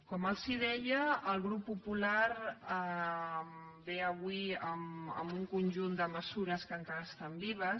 com els deia el grup popular ve avui amb un conjunt d’esmenes que encara estan vives